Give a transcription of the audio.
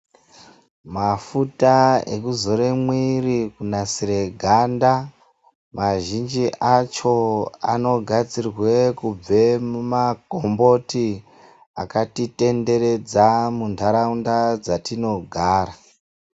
Mafuta eku zore mwiri kunasire ganda mazhinji acho ano gadzirwe kubva muma komboti akati tenderedza kubva mu ndaraunda dzatino gara.